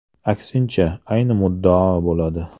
Aksincha, ayni muddao bo‘ladi.